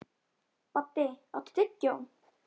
Baddi, áttu tyggjó?